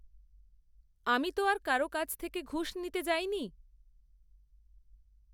আমি তো আর কারও কাছ থেকে ঘুষ নিতে যাইনি।